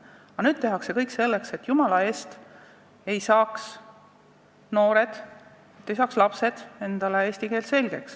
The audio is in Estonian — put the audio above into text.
Aga nüüd tehakse nagu kõik selleks, et jumala eest ei saaks lapsed ja noored eesti keelt selgeks.